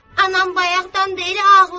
Anam bayaqdan bəri ağlayır.